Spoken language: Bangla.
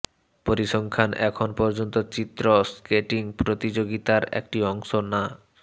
পরিসংখ্যান এখন পর্যন্ত চিত্র স্কেটিং প্রতিযোগিতার একটি অংশ না